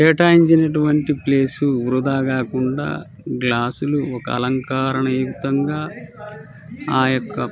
కేటాయించినటువంటి ప్లేస్ వృధా కాకుండా గ్లాస్లులు ఒక అలంకారణయుక్తంగా ఆయొక్క--